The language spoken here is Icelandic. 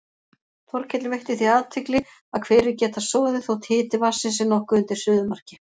Þorkell veitti því athygli að hverir geta soðið þótt hiti vatnsins sé nokkuð undir suðumarki.